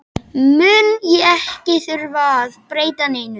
mun ég ekki þurfa að breyta neinu.